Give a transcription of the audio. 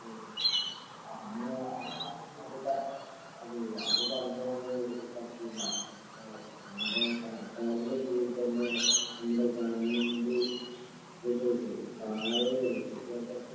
മ്ഹ് അങ്ങനെ അ ആ അപ്പോ താ ഓ അത് പറഞ്ഞാല് പറ്റില്ല അവരുടെ സർക്കാറിന്റെ കീഴിൽ തന്നെ നമ്മുടെ ഗവൺമെന്റ് വിദ്യാഭയാസം